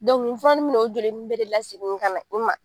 nin furanin in bi n'o joli bɛɛ de lasegin ka na ma.